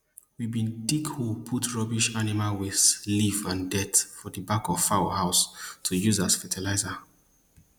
we bin dig hole put rubbish animal waste leaf and dirt for di back of fowl house to use as fertilizer